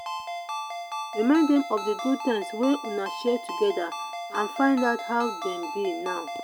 remind them of the good times wey una share together and find out how dem be now